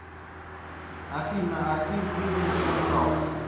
афина активбизнесконсалт